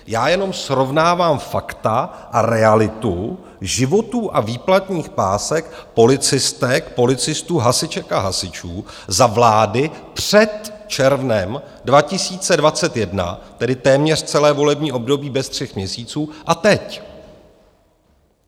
Já jenom srovnávám fakta a realitu životů a výplatních pásek policistek, policistů, hasiček a hasičů za vlády před červnem 2021, tedy téměř celé volební období bez tří měsíců, a teď.